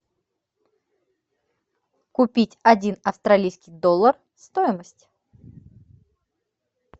купить один австралийский доллар стоимость